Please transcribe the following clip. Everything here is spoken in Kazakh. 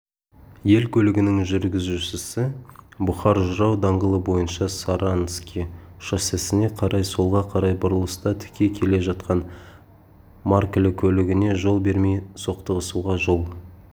ель көлігінің жүргізушісі бұхар-жырау даңғылы бойынша саранский шоссесіне қарай солға қарай бұрылыста тіке келе жатқан маркілі көлігіне жол бермей соқтығысуға жол